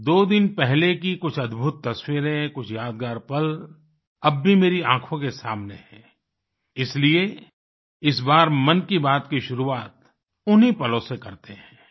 दो दिन पहले की कुछ अद्भुत तस्वीरें कुछ यादगार पल अब भी मेरी आँखों के सामने हैं इसलिए इस बार मन की बात की शुरुआत उन्ही पलों से करते हैं